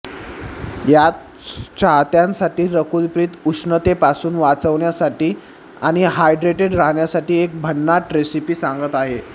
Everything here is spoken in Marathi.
याच चाहत्यांसाठी रकुल प्रीत उष्णतेपासून वाचण्यासाठी आणि हायड्रेटेड राहण्यासाठी एक भन्नाट रेसिपी सांगत आहे